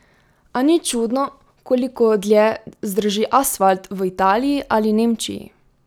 A ni čudno, koliko dlje zdrži asfalt v Italiji ali Nemčiji?